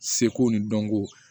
Seko ni dɔnko